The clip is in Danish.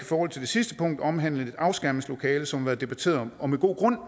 forhold til det sidste punkt omhandlende et afskærmningslokale som har været debatteret og med god grund